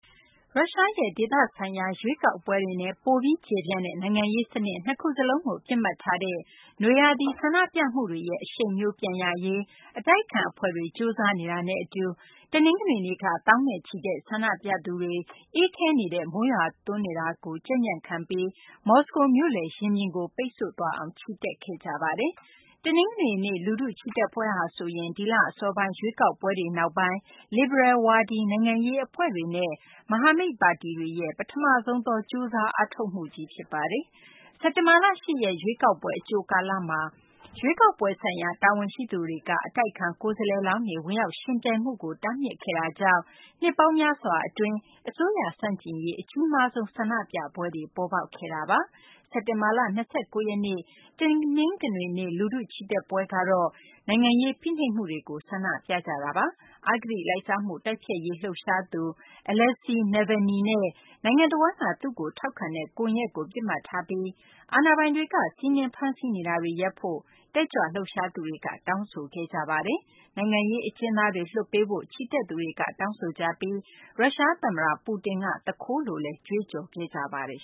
ရုရှားရဲ့ ဒေသဆိုင်ရာ ရွေးကောက်ပွဲတွေနဲ့ ပိုပြီးကျယ်ပြန့်တဲ့ နိုင်ငံရေးစနစ် နှစ်ခုစလုံးကို ပစ်မှတ်ထားတဲ့ နွေရာသီ ဆန္ဒပြမှုတွေရဲ့ အရှိန်မျိုး ပြန်ရရေး အတိုက်အခံအဖွဲ့တွေ ကြိုးစားနေတာနဲ့အတူ တနင်္ဂနွေနေ့က သောင်းနဲ့ချီတဲ့ ဆန္ဒပြသူတွေ အေးခဲနေတဲ့ မိုးရွာသွန်းမှုကို ကြံံံ့ကြံ့ခံပြီး မော်စကိုမြို့လယ် ရင်ပြင်ကို ပိတ်ဆို့သွားအောင် ချီတက်ခဲ့ကြပါတယ်။ တနင်္ဂနွေနေ့ လူထုချီတက်ပွဲဟာဆိုရင် ဒီလအစောပိုင်း ရွေးကောက်ပွဲတွေနောက်ပိုင်း လစ်ဘရယ်ဝါဒီ နိုင်ငံရေးအဖွဲ့တွေနဲ့ မဟာမိတ်ပါတီတွေရဲ့ ပထမဆုံးသော ကြိုးစား အားထုတ်မှုကြီး ဖြစ်ပါတယ်။ စက်တင်ဘာလ ၈ ရက် ရွေးကောက်ပွဲ အကြိုကာလမှာ ရွေးကောက်ပွဲဆိုင်ရာ တာဝန်ရှိသူတွေက အတိုက်အခံ ကိုယ်စားလှယ်လောင်းတွေ ဝင်ရောက်ယှဉ်ပြိုင်မှုကို တားမြစ်ခဲ့တာကြောင့် နှစ်ပေါင်းများစွာအတွင်း အစိုးရဆန့်ကျင်ရေး အကြီးမားဆုံး ဆန္ဒပြပွဲတွေ ပေါ်ပေါက်ခဲ့တာပါ။ စက်တင်ဘာလ ၂၉ ရက်နေ့ တနင်္ဂနွေနေ့ လူထုချီတက်ပွဲကတော့ နိုင်ငံရေး ဖိနှိပ်မှုတွေကို ဆန္ဒပြကြတာပါ။ အဂတိလိုက်စားမှု တိုက်ဖျက်ရေး လှုပ်ရှားသူ Aleksei Navalny နဲ့ နိုင်ငံတဝန်းက သူ့ကိုထောက်ခံတဲ့ ကွန်ရက်ကို ပစ်မှတ်ထားပြီး အာဏာပိုင်တွေက စီးနင်း ဖမ်းဆီးနေတာတွေ ရပ်ဖို့ တက်ကြွလှုပ်ရှားသူတွေက တောင်းဆိုခဲ့ကြပါတယ်။ နိုင်ငံရေးအကျဉ်းသားတွေ လွှတ်ပေးဖို့ ချီတက်သူတွေက တောင်းဆိုကြပြီး ရုရှားသမ္မတ Putin က သူခိုးလို့လည်း ကြွေးကြော်ခဲ့ကြပါတယ်